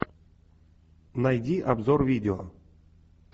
найди обзор видео